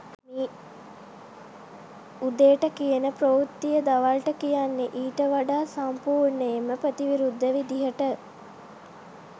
උදේට කියන ප්‍රවෘත්තිය දවල්ට කියන්නේ ඊට වඩා සම්පූර්ණයෙන්ම ප්‍රතිවිරුද්ධ විදිහට